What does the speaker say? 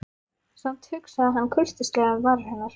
Samt hugsaði hann kurteislega um varir hennar.